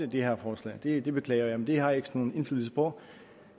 det her forslag det det beklager jeg men det har jeg ikke nogen indflydelse på